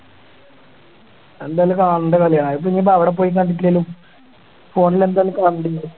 എന്തായാലും കാണേണ്ട കളിയാ അതിപ്പോ ഇനി അവിടെ പോയി കണ്ടിട്ടില്ലേലും phone ല് എന്തായാലും കണ്ടിരിക്കും